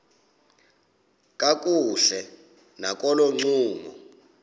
kakuhle nakolo ncumo